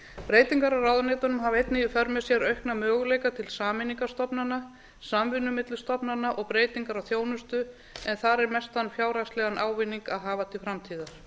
breytingar á ráðuneytunum hafa einnig í för með sér aukna möguleika til sameiningar stofnana samvinnu milli stofnana og breytingar á þjónustu þar er mestan fjárhagslegan ávinning að hafa til framtíðar